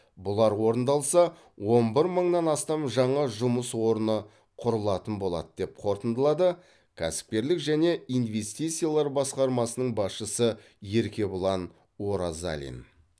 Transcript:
бұлар орындалса он бір мыңнан астам жаңа жұмыс орны құрылатын болады деп қорытындылады кәсіпкерлік және инвестициялар басқармасының басшысы еркебұлан оразалин